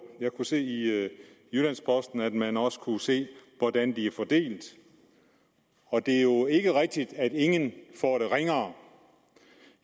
jeg kunne se i jyllands posten at man også kunne se hvordan de er fordelt og det er jo ikke rigtigt at ingen får det ringere